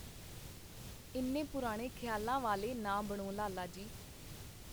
ਇੰਨੇ ਪੁਰਾਣੇ ਖਿਆਲਾਂ ਵਾਲੇ ਨਾ ਬਣੋ, ਲਾਲਾ ਜੀ.